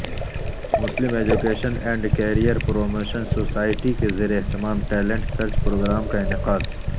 Muslim education and career promotion society کے زیراہتمام talent search program کا انعقاد